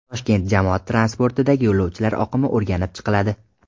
Toshkent jamoat transportidagi yo‘lovchilar oqimi o‘rganib chiqiladi.